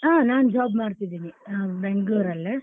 ಹಾ ನಾನ್ job ಮಾಡ್ತಿದೀನಿ Bangalore ಲ್ಲೇ.